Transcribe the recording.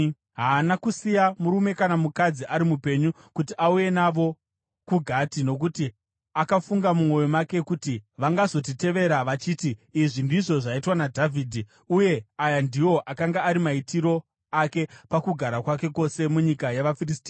Haana kusiya murume kana mukadzi ari mupenyu kuti auye navo kuGati, nokuti akafunga mumwoyo make kuti, “Vangazotirevera vachiti, ‘Izvi ndizvo zvaitwa naDhavhidhi.’ ” Uye aya ndiwo akanga ari maitiro ake pakugara kwake kwose munyika yavaFiristia.